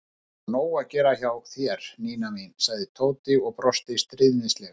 Það er sko nóg að gera hjá þér, Nína mín sagði Tóti og brosti stríðnislega.